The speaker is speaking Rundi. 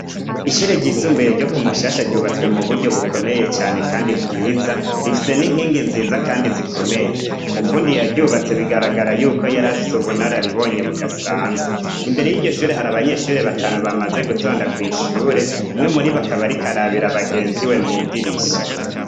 Ishure ryisumbuye ryo ku Mushasha ryubatswe mu buryo bukomeye cane kandi bwiza, rifise n'inkingi nziza kandi zikomeye. Umufundi yaryubatse bigaragara yuko yarafise ubunararibonye budasanzwe, imbere y'iryo shure hari abanyeshure batanu bamaze gutonda kw'ishure, umwe muri bo akaba ariko arabira bagenzi we mw'idirisha.